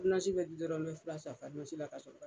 bɛ di dɔrɔn n mɛ fira san la ka sɔrɔ